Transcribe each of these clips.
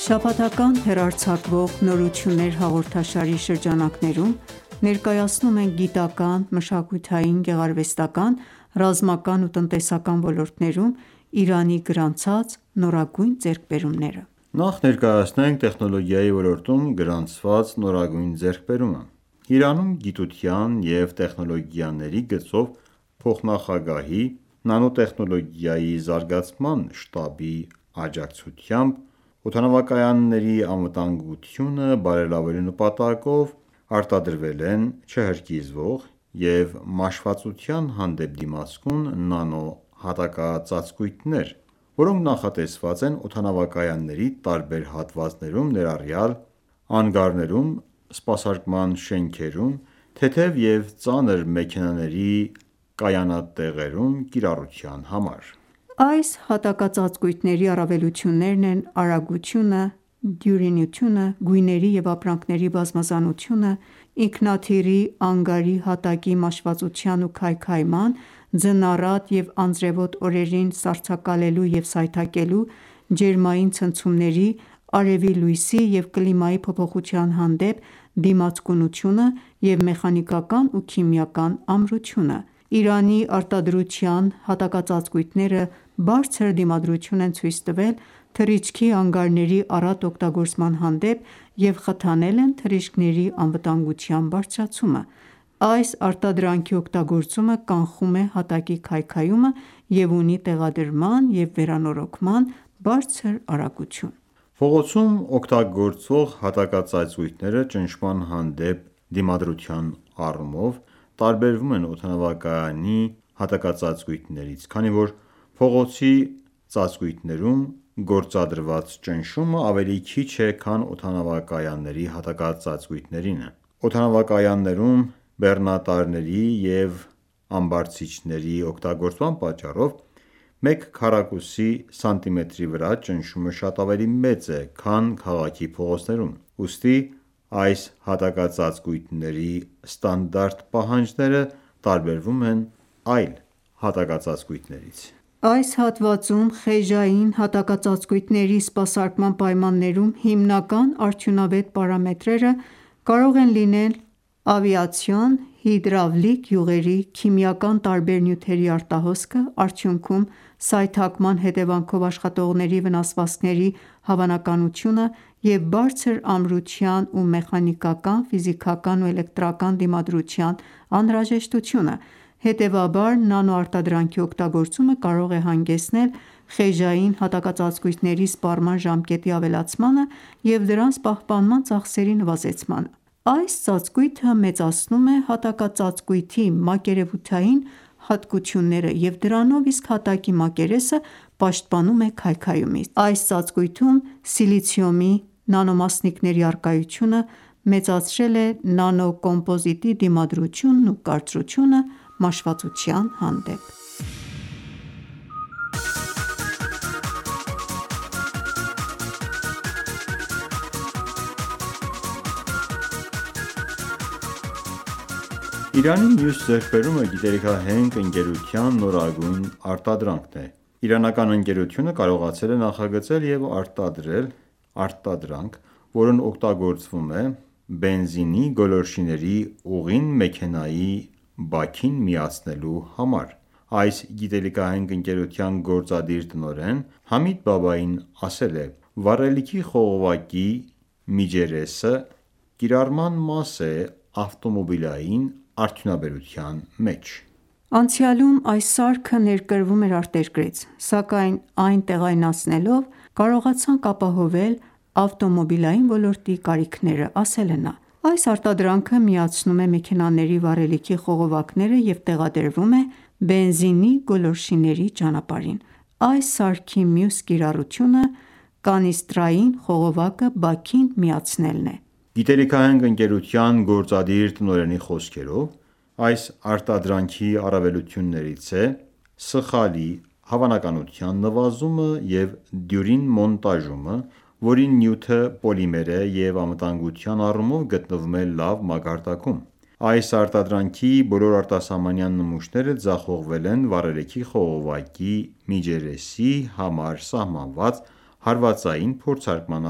Շաբաթական հեռարձակվող «Նորություններ» հաղորդաշարի շրջանակներում, ներկայացնում ենք գիտական, մշակութային, գեղարվեստական, ռազմական ու տնտեսական ոլորտներում Իրանի գրանցած նորագույն ձեռքբերումները։ Նախ ներկայացնենք տեխնոլոգիայի ոլորտում գրանցված նորագույն ձեռքբերումը: Իրանում գիտության և տեխնոլոգիաների գծով փոխնախագահի նանոտեխնոլոգիայի զարգացման շտաբի աջակցությամբ օդանավակայանների անվտանգությունը բարելավելու նպատակով արտադրվել են չհրկիզվող և մաշվածության հանդեպ դիմացկուն նանո հատակածածկույթներ, որոնք նախատեսված են օդանավակայանների տարբեր հատվածներում, ներառյալ՝ անգարներում, սպասարկման շենքերում, թեթև և ծանր մեքենաների կայանատեղերում կիրառության համար: Այս հատակածածկույթների առավելություններն են՝ արագությունը, դյուրինությունը, գույների և ապրանքների բազմազանությունը, ինքնաթիռի անգարի հատակի մաշվածության ու քայքայման, ձնառատ և անձրևոտ օրերին սառցակալելու և սայթաքելու, ջերմային ցնցումների, արևի լույսի և կլիմայի փոփոխության հանդեպ դիացկունությունը և մեխանիկական ու քիմիական ամրությունը: Իրանի արտադրության հատակածածկույթները բարձր դիմադրություն են ցույց տվել թռիչքի անգարների առատ օգտագործման հանդեպ և խթանել են թռիչքների անվտանգության բարձրացումը: Այս արտադրանքի օգտագործումը կանխում է հատակի քայքայումը և ունի տեղադրման և վերանորոգման բարձր արագություն: Փողոցում օգտագործվող հատակածածկույթները ճնշման հանդեպ դիմադրության առումով տարբերվում են օդանավակայանի հակատակածածկույթներից, քանի որ փողոցի ծածկույթներում գործադրված ճնշումը ավելի քիչ է քան օդանավակայանների հակատակածածկույթներինը: Օդանավակայաններում բեռնատարների և ամբարձիչների օգտագործման պատճառով մեկ քառակուսի սանտիմետրի վրա ճնշումը շատ ավելի մեծ է, քան քաղաքի փողոցներում։ Ուստի այս հատակածածլույթների ստանդարտ պահանջները տարբերվում են այլ հատակածածկույթներից: Այս հատվածում խեժային հատակածածկույթների սպասարկման պայմաններում հիմնական արդյունավետ պարամետրերը կարող են լինել ավիացիոն հիդրավլիկ յուղերի, քիմիական տարբեր նյութերի արտահոսքը, արդյունքում, սայթաքման հետևանքով աշխատողների վնասվածքների հավանականությունը և բարձր ամրության և մեխանիկական, ֆիզիկական ու էլեկտրական դիմադրության անհրաժեշտությունը։ Հետևաբար, նանոարտադրանքի օգտագործումը կարող է հանգեցնել խեժային հատակածածկույթների սպառման ժամկետի ավելացմանը և դրանց պահպանման ծախսերի նվազեցմանը:Այս ծածկույթը մեծացնում է հատակածածկույթի մակերևութային հատկությունները և դրանով իսկ հատակի մակերեսը պաշտպանում է քայքայումից: Այս ծածկույթում սիլիցիումի նանոմասնիկների առկայությունը մեծացրել է նանոկոմպոզիտի դիմադրությունն ու կարծրությունը մաշվածության հանդեպ: Չհրկիզվող և քայքայման հանդեպ դիմացկուն նանո հատակածածկույթների արտադրություն Իրանի մյուս ձեռքբերումը գիտելիքահենք ընկերության նորագույն արտադրանքն է։ Իրանական ընկերությունը կարողացել է նախագծել և արտադրել արտադրանք, որն օգտագործվում է բենզինի գոլորշիների ուղին մեքենայի բաքին միացնելու համար: Այս գիտելիքահենք ընկերության գործադիր տնօրեն Համիդ Բաբայիին ասել է․ «Վառելիքի խողովակի միջերեսը կիրառական մաս է ավտոմոբիլային արդյունաբերության մեջ»: Անցյալում այս սարքը ներկրվում էր արտերկրից, սակայն այն տեղայնացնելով՝ կարողացանք ապահովել ավտոմոբիլային ոլորտի կարիքները։ Այս արտադրանքը միացնում է մեքենաների վառելիքի խողովակները և տեղադրվում է բենզինի գոլորշիների ճանապարհին։ Այս սարքի մյուս կիրառությունը՝ կանիստրային խողովակը բաքին միացնելն է։ Գիտելիքահենք ընկերության գործադիր տնօրենի խոսքերով, այս արտադրանքի առավելություններից է սխալի հավանականության նվազումը և դյուրին մոնտաժումը, որի նյութը պոլիմեր է և անվտանգության առումով գտնվում է լավ մակարդակում։ Այս արտադրանքի բոլոր արտասահմանյան նմուշները ձախողվել են վառելիքի խողովակի միջերեսի համար սահմանված հարվածային փորձարկման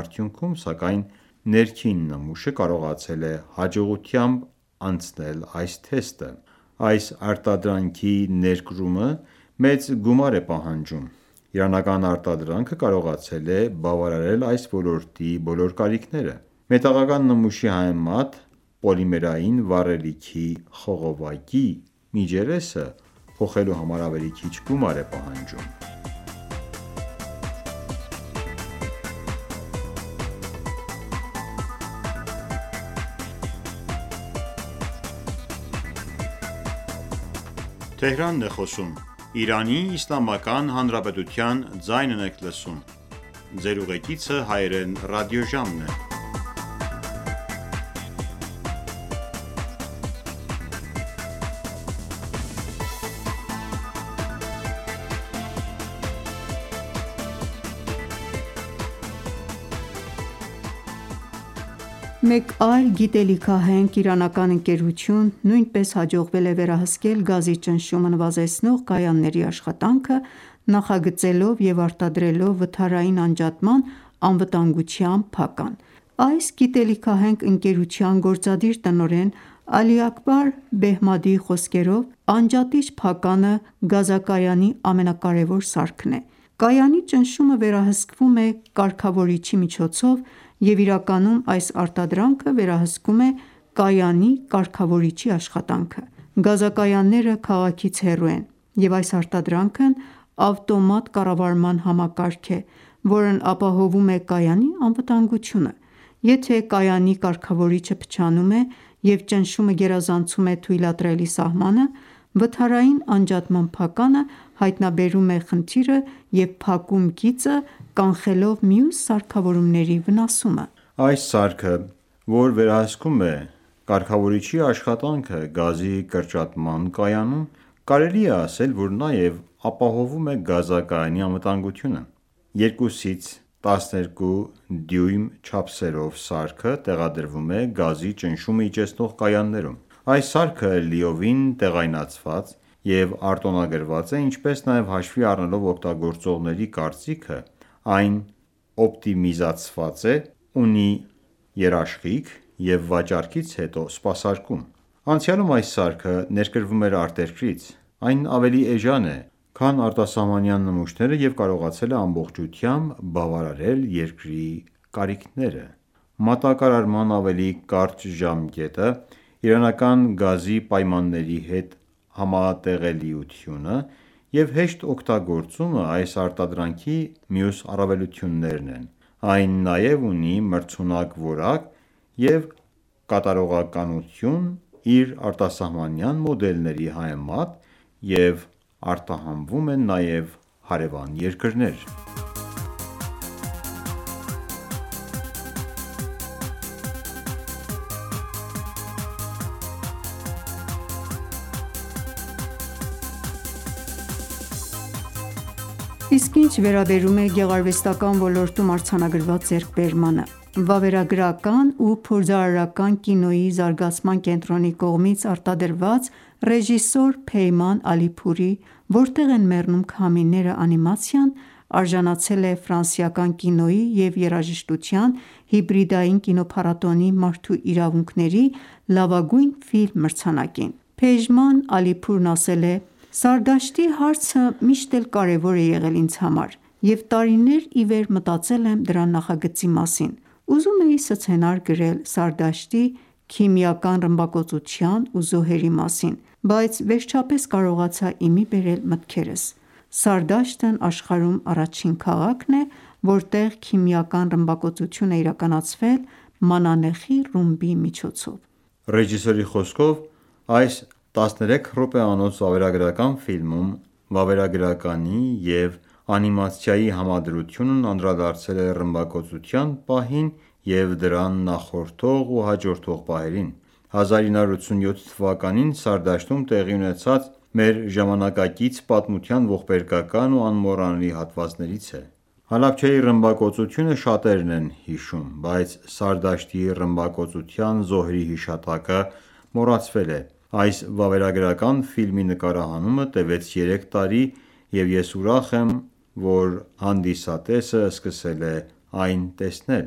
արդյունքում, սակայն ներքին նմուշը կարողացել է հաջողությամբ անցնել այս թեստը: Այս արտադրանքի ներկրումը մեծ գումար է պահանջում։ Իրանական արտադրանքը կարողացել է բավարարել այս ոլորտի բոլոր կարիքները։ Մետաղական նմուշի համեմատ պոլիմերային վառելիքի խողովակի միջերեսը փոխելու համար ավելի քիչ գումար է պահանջվում: Վառելիքի խողովակների միջերեսների նախագծում և արտադրություն Մեկ այլ գիտելիքահենք իրանական ընկերության նույնպես հաջողվել է վերահսկել գազի ճնշումը նվազեցնող կայանների աշխատանքը՝ նախագծելով և արտադրելով վթարային անջատման անվտանգության փական: Այս գիտելիքահենք ընկերության գործադիր տնօրեն Ալի Աքբար Բեհմադիի խոսքերով, անջատիչ փականը գազակայանի ամենակարեւոր սարքն է: Կայանի ճնշումը վերահսկվում է կարգավորիչի միջոցով և իրականում այս արտադրանքը վերահսկում է կայանի կարգավորիչի աշխատանքը։ Գազակայանները քաղաքից հեռու են և այս արտադրանքն ավտոմատ կառավարման համակարգ է, որն ապահովում է կայանի անվտանգությունը։ Եթե ​​կայանի կարգավորիչը փչանում է, և ճնշումը գերազանցում է թույլատրելի սահմանը, վթարային անջատման փականը հայտնաբերում է խնդիրը և փակում գիծը՝ կանխելով մյուս սարքավորումների վնասումը: Այս սարքը, որ վերահսկում է կարգավորիչի աշխատանքը գազի կրճատման կայանում, կարելի է ասել, որ նաև ապահովում է գազակայանի անվտանգությունը։ 2-ից 12 դյույմ չափսերով սարքը տեղադրվում է գազի ճնշումը իջեցնող կայաններում։ Այս սարքը լիովին տեղայնացված և արտոնագրված է, ինչպես նաև հաշվի առնելով օգտագործողների կարծիքը, այն օպտիմիզացված է, ունի երաշխիք և վաճառքից հետո սպասարկում: Անցյալում այս սարքը ներկրվում էր արտերկրից։ Այն ավելի էժան է, քան արտասահմանյան նմուշները և կարողացել է ամբողջությամբ բավարարել երկրի կարիքները։ Մատակարարման ավելի կարճ ժամկետը, իրանական գազի պայմանների հետ համատեղելիությունը և հեշտ օգտագործումը այս արտադրանքի մյուս առավելություններն են: Այն նաև ունի մրցունակ որակ և կատարողականություն իր արտասահմանյան մոդելների համեմատ և արտահանվում է նաև հարևան երկրներ: Վթարային անջատման փականի նախագծում և արտադրություն Իսկ ինչ վերաբերում է գեղարվեստական ոլորտում արձանագրված ձեռքբերմանը։ Վավերագրական ու փորձարարական կինոյի զարգացման կենտրոնի կողմից արտադրված ռեժիսոր Փեյման Ալիփուրի «Որտե՞ղ են մեռնում քամիները» անիմացիան արժանացել է Ֆրանսիական կինոյի և երաժշտության հիբրիդային կինոփառատոնի մարդու իրավունքների լավագույն ֆիլմ մրցանակին: Փեժման Ալիփուրն ասել է․ «Սարդաշտի հարցը միշտ էլ կարեւոր է եղել ինձ համար և տարիներ ի վեր մտածել եմ դրա նախագծի մասին։ Ուզում էի սցենար գրել Սարդաշտի քիմիական ռմբակոծության ու զոհերի մասին, բայց վերջապես կարողացա ի մի բերել մտքերս։ Սարդաշտն աշխարհում առաջին քաղաքն է, որտեղ քիմիական ռմբակոծություն է իրականացվել մանանեխի ռումբի միջոցով»։ Ռեժիսորի խոսքով, այս 13 րոպեանոց վավերագրական ֆիլմում վավերագրականի և անիմացիայի համադրությունն անդրադարձել է ռմբակոծության պահին և դրան նախորդող ու հաջորդող պահերին: 1987 թվականին Սարդաշտում տեղի ունեցածը մեր ժամանակակից պատմության ողբերգական ու անմոռանալի հատվածներից է։ Հալաբչեյի ռմբակոծությունը շատերն են հիշում, բայց Սարդաշտի ռմբակոծության զոհերի հիշատակը մոռացվել է։ Այս վավերագրական ֆիլմի նկարահանումը տևեց երեք տարի, և ես ուրախ եմ, որ հանդիսատեսը սկսել է այն տեսնել: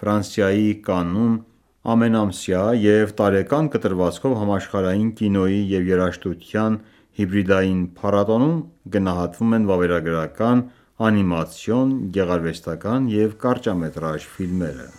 Ֆրանսիայի Կաննում ամենամսյա և տարեկան կտրվածքով Համաշխարհային կինոյի և երաժշտության հիբրիդային փառատոնում գնահատվում են վավերագրական, անիմացիոն, գեղարվեստական ​​և կարճամետրաժ ֆիլմերը: